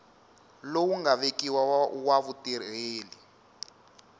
lowu nga vekiwa wa vutirheli